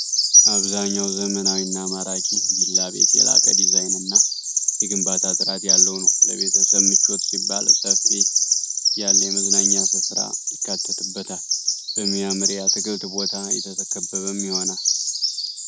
አብዛኛው ዘመናዊ እና ማራኪ ቪላ ቤት የላቀ ዲዛይንና የግንባታ ጥራት ያለው ነው። ለቤተሰብ ምቾት ሲባል ሰፊ ያለ የመዝናኛ ሥፍራ ይካተትበታል፤ በሚያምር የአትክልት ቦታ የተከበበም ይሆናል።